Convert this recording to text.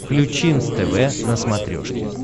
включи нств на смотрешке